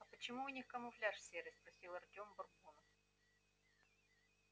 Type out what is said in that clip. а почему у них камуфляж серый спросил артём бурбона